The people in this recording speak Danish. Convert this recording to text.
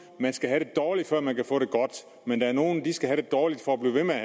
man skal have det dårligt før man kan få det godt men der er nogle der skal have det dårligt for at blive ved med at